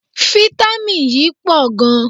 Fítámìn yíí pọ̀ gan.